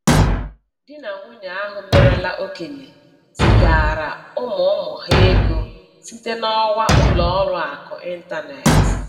Di na nwanyị ahụ merela okenye zigaara ụmụ ụmụ ha ego site n'ọwa ụlọ ọrụ akụ ịntaneetị